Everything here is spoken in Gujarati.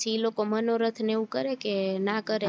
પછી ઈ લોકો મનોરથ ને એવું કરે કે નાં કરે